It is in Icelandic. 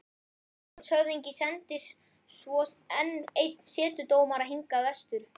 Landshöfðingi sendir svo enn einn setudómara hingað vestur.